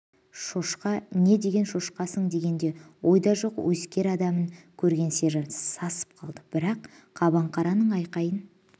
шошқа не деген шошқасың дегенде ойда жоқ өскер адамын көрген сержант сасып қалды бірақ қабаңқараның айқайын